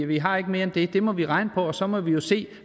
vi har ikke mere end det det må vi regne og så må vi jo se